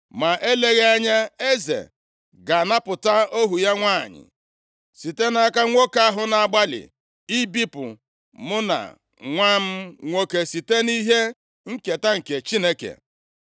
Ma eleghị anya eze ga-anapụta ohu ya nwanyị site nʼaka nwoke ahụ na-agbalị ibipụ mụ na nwa m nwoke site nʼihe nketa nke Chineke.’